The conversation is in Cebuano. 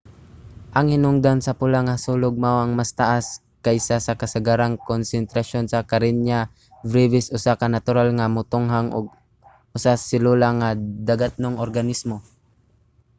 ang hinungdan sa pula nga sulog mao ang mas taas kaysa sa kasagarang konsentrasyon sa karenia brevis usa ka natural nga motunghang usag-selula nga dagatnong organismo